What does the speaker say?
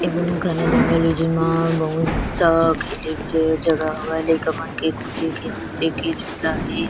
बहुत घाना जंगल हे जेमा बहुत सारा खेले के जगह हवय लइका मन के खेले के कूदे के नाचे के झूला हे।